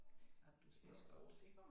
At du spiser godt